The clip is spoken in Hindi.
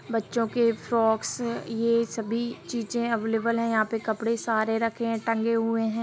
बच्चों के फ्रॉक्स ये सभी चीजे अवलेबल है यहां पे कपड़े सारे रखे है टंगे हुए है।